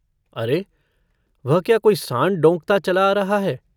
अरे वह क्या कोई साँड़ डौंकता चला आ रहा है।